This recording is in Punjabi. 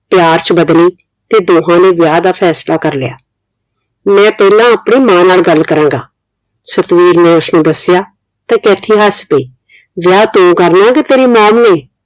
ਪਿਆਰ ਚ ਬਦਲੀ ਤੇ ਦੋਹਾਂ ਨੇ ਵਿਆਹ ਦਾ ਫੈਸਲਾ ਕਰ ਲਿਆ ਮੈਂ ਤੇਰੇ ਨਾਲ ਆਪਣੀ ਮਾਂ ਨਾਲ ਗੱਲ ਕਰਾਂਗਾ ਸਤਵੀਰ ਨੇ ਉਸਨੂੰ ਦੱਸਿਆ ਤੇ ਕੈਥੀ ਹੱਸ ਪਈ ਵਿਆਹ ਤੂੰ ਕਰਨਾ ਕੇ ਤੇਰੀ mom ਨੇ